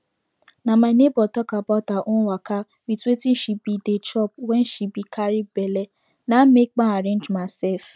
na my neighbor talk about her own waka wit wetin she be dey chop wen she be carry belle na make ma arrange myself